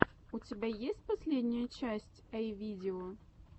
у тебя есть последняя часть эй видео